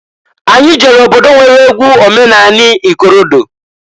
Anyị jere obodo nwere egwu omenani ikorodo.